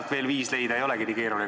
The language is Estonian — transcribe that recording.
No veel viis leida ei olegi nii keeruline.